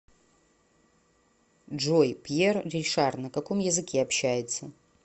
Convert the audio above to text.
джой пьер ришар на каком языке общается